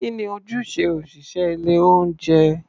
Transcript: Kí ni ojúṣe òṣị̀ṣẹ́ ilé-oúnjẹ?